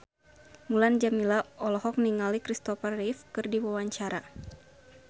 Mulan Jameela olohok ningali Christopher Reeve keur diwawancara